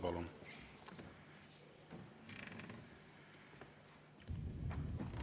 Palun!